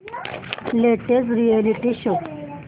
latest reality show